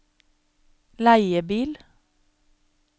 leiebil